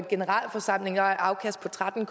generalforsamling og har et afkast på tretten